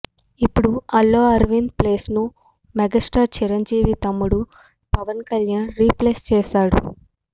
ఇప్పుడు అల్లు అరవింద్ ప్లేస్ ను మెగాస్టార్ చిరంజీవి తమ్ముడు పవన్ కళ్యాణ్ రీప్లేస్ చేసారు